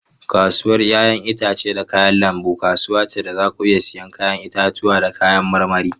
Kasuwar 'ya'yan itace da kayan lambu kasuwa ce da za ku iya siyan 'ya'yan itatuwa da kayan marmari.